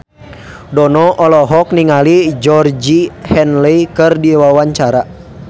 Dono olohok ningali Georgie Henley keur diwawancara